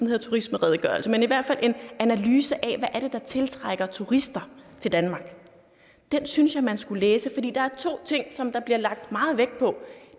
hedder turismeredegørelse men i hvert fald en analyse af hvad er der tiltrækker turister til danmark den synes jeg man skulle læse for der er to ting som der bliver lagt meget vægt på